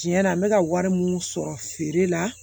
Tiɲɛ yɛrɛ la n bɛ ka wari minnu sɔrɔ feere la